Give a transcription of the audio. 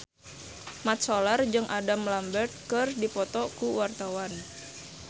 Mat Solar jeung Adam Lambert keur dipoto ku wartawan